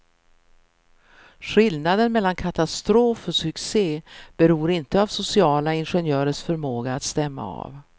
Skillnaden mellan katastrof och succé beror inte av sociala ingenjörers förmåga att stämma av.